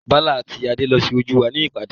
Bala àti Adé lo sójú wa ní ìpàdé.